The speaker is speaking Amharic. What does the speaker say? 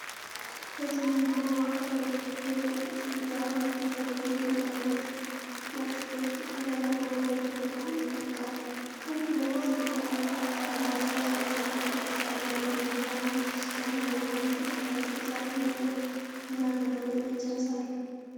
በትዕይንቱ ማዕከል በጥቅጥቅ ዛፎች የተከበቡ ጥንታዊ ምሽጎች ከከተማው በላይ ጎልተው ወጥተዋል። ከፊት ለፊት ዝቅተኛ ከፍታ ያላቸው ሕንፃዎች እና ጥቅጥቅ ያሉ የመኖሪያ አካባቢዎች ሲታዩ፣ በመሃል ላይ አንድ ትልቅ ሰፊ መንገድ እና ዘመናዊ ነጭ ሕንፃ አለ።